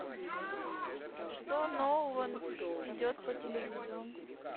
что нового идет по телевизору